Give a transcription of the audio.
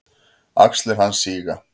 Axlir hans síga.